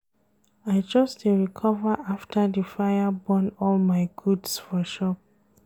I just dey recover after di fire burn all my goods for shop.